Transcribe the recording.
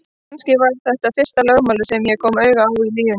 Kannski var þetta fyrsta lögmálið sem ég kom auga á í lífinu.